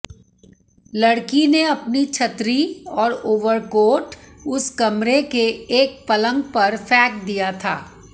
लड़की ने अपनी छतरी और ओवरकोट उस कमरे के एक पलंग पर फेंक दिया था